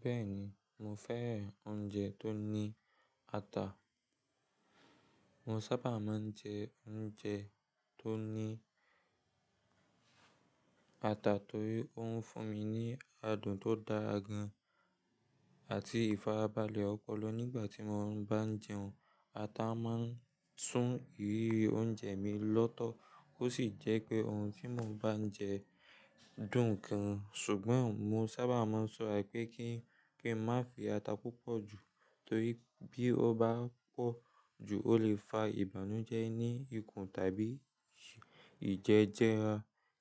Bẹ́ẹ̀ni, mo fẹ́ràn oúnjẹ tó ní ata. Mo sábà máa ń jẹ oúnjẹ tó ní ata torí ó ń fún mi ní adùn tó dára gan àti ìfarabalẹ̀ ọpọlọ nígbà tí mo bá ń jẹun. Ata máa ń sún ìrírí oúnjẹ mi lọ́tọ̀ ó sì jẹ́ pé ohun tí mo bá ń jẹ dùn gan-an. Ṣùgbọ́n mo sábà máa ń ṣọ́ra pé kí n má fi ata púpọ̀ jù torí bí ó bá pọ̀ jù ó lè fa ìbànújẹ́ ní ikùn tàbí ìjẹjẹra.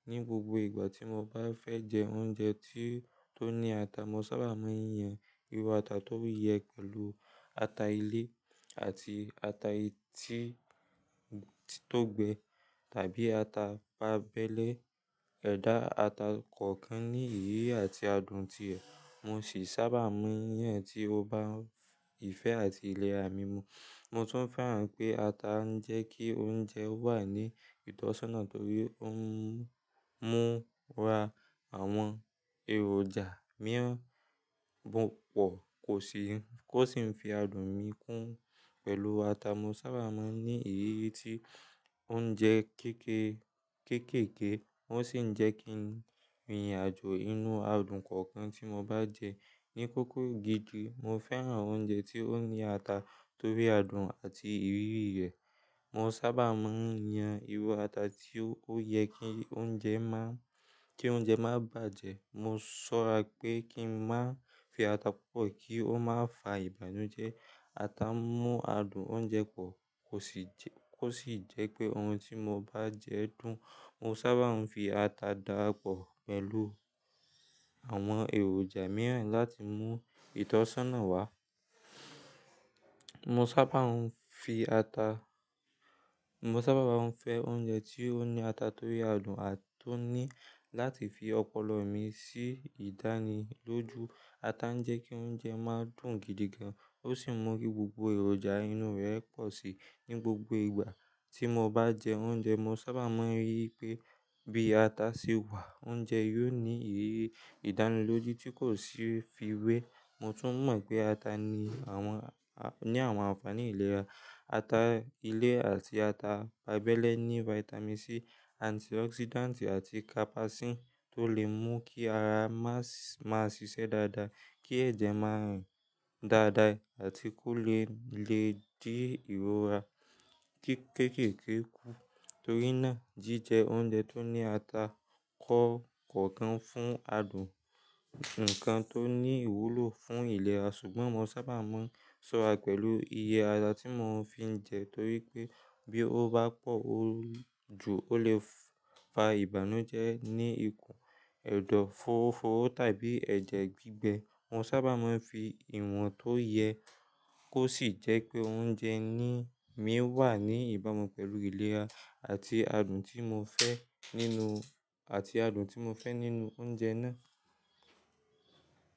Ní gbogbo ìgbà tí mo bá fẹ́ jẹ oúnjẹ tó ní ata, mo sábà máa ń yan iru ata tó yẹ pẹ̀lú ata ilé àti ata tí tó gbẹ tàbí ata pábẹ́lẹ́. Ẹ̀dà ata kọ̀ọ̀kan ní ìrírí àti adùn ti rẹ̀, mo sì sábà máa ń yan èyí tí ó bá ìfẹ́ àti ìlera mi mu. Mo tún fẹ́ràn pé ata ń jẹ́ kí oúnjẹ wà ní ìtọ́sọ́nà torí ó ń múra àwọn èròjà mìíràn pòpọ̀ kó sì ń fi adùn mi kún. Pẹ̀lú ata, mo sábà máa ń ní ìrírí tí ó ń jẹ kéékèèké, ó sì ń jẹ́ kí ìrìnàjò inú adùn kọ̀ọ̀kan tí mo bá jẹ ní kókó gidi. Mo fẹ́ràn oúnjẹ tí ó ní ata torí adùn àti ìrírí rẹ̀. Mo sábà máa ń yan iru ata tí ó yẹ kí oúnjẹ má bàjẹ́. Mo ṣọ́ra pé kí n má fi ata púpọ̀ kí ó má fa ìbànújẹ́. Ata ń mú adùn oúnjẹ pọ̀ kó sì jẹ́ pé ohun tí mo bá jẹ dùn. Mo sábà ń fi ata dára pọ̀ pẹ̀lú àwọn èròjà mìíràn láti mú ìtọ́sọ́nà wá. Mo sábà ń fẹ́ oúnjẹ tí ó ní ata torí adùn àti láti fi ọpọlọ mi sí ìdánilójú. Ata ń jẹ́ kí oúnjẹ má dùn gidi gan, ó sì ń mú kí gbogbo èròjà inú rẹ̀ pọ̀ sí i ní gbogbo ìgbà tí mo bá jẹ oúnjẹ. Mo sábà máa ń rí i pé bí ata ṣe wà, oúnjẹ yóò ní ìrírí ìdánilójú tí kò sì fiwé. Mo tún mọ̀ pé ata ní àwọn àfààní ìlera. Ata ilé àti ata pábẹ́lẹ́ ní vitamin C, antioxidant àti capsaicin tó lè mú kí ara máa ṣiṣẹ́ dáadáa, kí ẹ̀jẹ̀ má rìn dáadáa àti kó lè dí ìrora kéékèèké kù. Torí náà, jíjẹ oúnjẹ tó ní ata kọ̀ọ̀kan fún adùn nǹkan tó ní ìwúlò fún ìlera. Ṣùgbọ́n mo sábà máa ń ṣọ́ra pẹ̀lú iye ata tí mo fi ń jẹ torí pé bí ó bá pọ̀ jù ó lè fa ìbànújẹ́ ní ikùn, ẹ̀dọ̀ fóófóó tàbí ẹ̀jẹ̀ gbígbẹ. Mo sábà máa ń fi ìwọ̀n tó yẹ kó sì jẹ́ pé oúnjẹ mí wà ní ìbámu pẹ̀lú ìlera àti adùn tí mo fẹ́ nínú oúnjẹ náà.